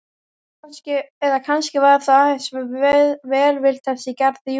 Eða kannski var það aðeins velvild hans í garð Júlíu.